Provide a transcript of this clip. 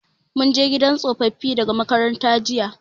Mun je gidan tsofaffi daga makaranta jiya.